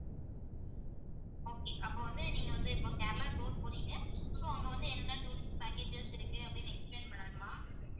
okay அப்ப வந்து நீங்க வந்து இப்ப கேரளா tour போறீங்க so அங்க வந்து என்னென்ன tourist packages இருக்கு அப்படின்னு explain பண்ணணுமா